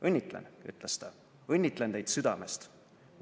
"Õnnitlen," ütles ta, "õnnitlen teid südamest!